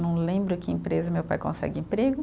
Não lembro que empresa meu pai consegue emprego.